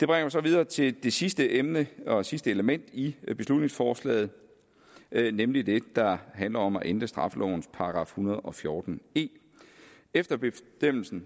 mig så videre til det sidste emne og sidste element i beslutningsforslaget nemlig det der handler om at ændre straffelovens § en hundrede og fjorten e efter bestemmelsen